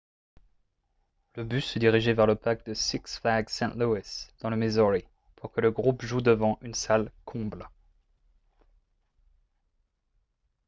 le bus se dirigeait vers le parc de six flags st. louis dans le missouri pour que le groupe joue devant une salle comble